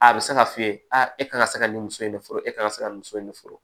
A bɛ se k'a f'i ye e kan ka se ka nin so in de furu e ka kan ka se ka muso in furu